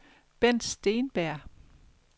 Bendt Steenberg